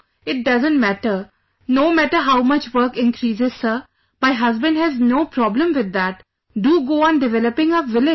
It doesn't matter, no matter how much work increases sir, my husband has no problem with that...do go on developing our village